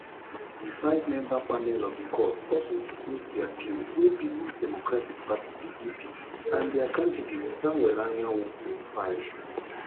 di fivemember panel of di court also dismiss di appeal wey peoples democratic party pdp and dia candidate samuel anyanwu bin file